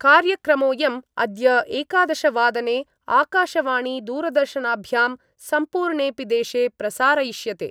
कार्यक्रमोयम् अद्य एकादशवादने आकाशवाणीदूरदर्शनाभ्यां सम्पूर्णेपि देशे प्रसारयिष्यते।